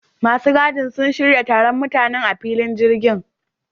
Masu gadin sun shirya taron mutanen a filin jirgin